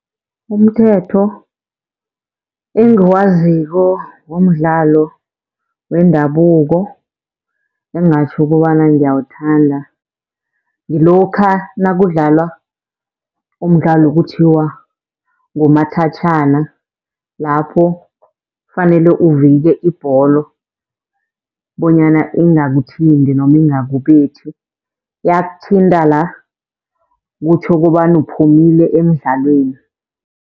Umthetho engiwaziko ngomdlalo wendabuko engingatjho kobana ngiyawuthanda, ngilokha nakudlalwa umdlalo okuthiwa ngumathatjhana. Lapho kufanele uvike ibholo bonyana ingakuthinti noma ingakubethi, yakuthinta la kutjho kobana uphumile emdlalweni.